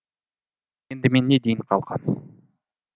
енді мен не дейін қалқам